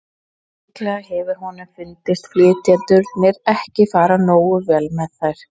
Líklega hefur honum fundist flytjendurnir ekki fara nógu vel með þær.